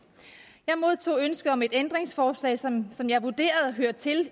jeg modtog ønske om et ændringsforslag som som jeg vurderede hørte til